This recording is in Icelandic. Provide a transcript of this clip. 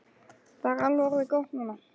Og það er alveg orðið gott núna.